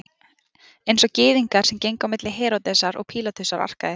Einsog Gyðingar sem gengu á milli Heródesar og Pílatusar arkaði